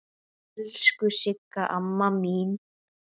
Elsku Sigga amma mín.